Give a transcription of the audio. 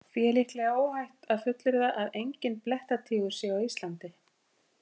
Því er líklega óhætt að fullyrða að enginn blettatígur sé á Íslandi.